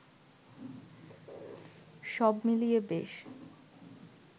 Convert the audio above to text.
সব মিলিয়ে বেশ